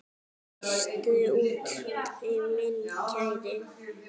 Frystir úti minn kæri.